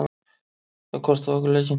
Það kostaði okkur leikinn.